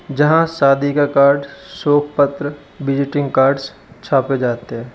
जहां सादी का कार्ड सोक पत्र विजिटिंग कार्ड्स छापे जाते हैं।